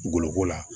Goloko la